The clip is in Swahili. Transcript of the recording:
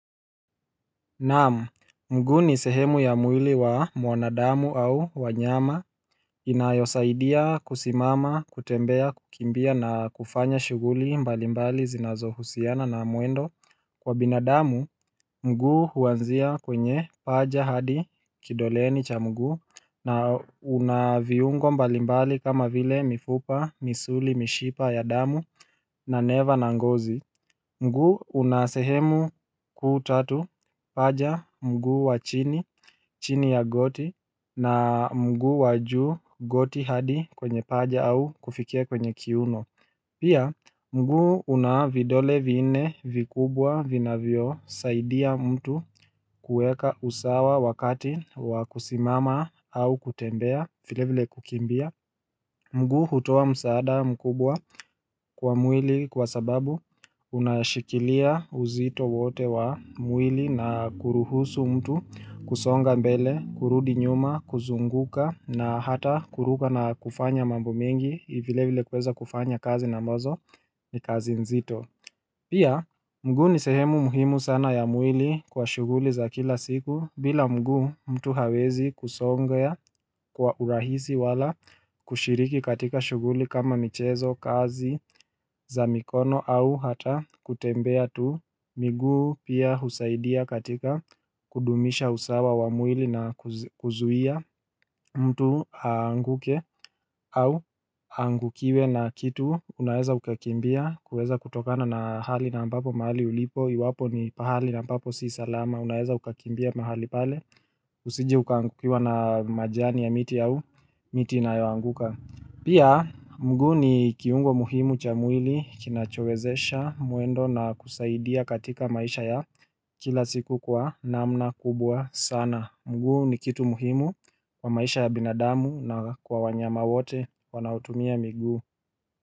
Naam, mguu ni sehemu ya mwili wa mwanadamu au wanyama inayosaidia kusimama, kutembea, kukimbia na kufanya shughuli mbalimbali zinazohusiana na mwendo wa binadamu, mguu huanzia kwenye paja hadi kidoleni cha mgu na unaviungo mbalimbali kama vile mifupa, misuli, mishipa ya damu na neva na ngozi mguu unasehemu kuu tatu paja mguu wa chini, chini ya goti na mguu wa juu goti hadi kwenye paja au kufikia kwenye kiuno. Pia mguu una vidole vinne vikubwa vinavyosaidia mtu kuweka usawa wakati wa kusimama au kutembea vilevile kukimbia. Mguu hutoa msaada mkubwa kwa mwili kwa sababu unashikilia uzito wote wa mwili na kuruhusu mtu kusonga mbele, kurudi nyuma, kuzunguka na hata kuruka na kufanya mambo mengi, vile vile kuweza kufanya kazi na ambazo ni kazi nzito. Pia mguu ni sehemu muhimu sana ya mwili kwa shughuli za kila siku bila mguu mtu hawezi kusonga kwa urahisi wala kushiriki katika shughuli kama michezo, kazi, za mikono au hata kutembea tu. Miguu pia husaidia katika kudumisha usawa wa mwili na kuzuia mtu aanguke au aangukiwe na kitu Unaweza ukakimbia kuweza kutokana na hali na ambapo mahali ulipo iwapo ni pahali na papo si salama unaweza ukakimbia mahali pale Usijeukaangukiwa na majani ya miti au miti inayoanguka Pia mguu ni kiungo muhimu cha mwili kinachowezesha mwendo na kusaidia katika maisha ya kila siku kwa namna kubwa sana. Mguu ni kitu muhimu kwa maisha ya binadamu na kwa wanyama wote wanaotumia miguu.